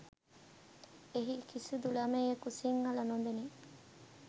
එහි කිසිදු ළමයෙකු සිංහල නොදනී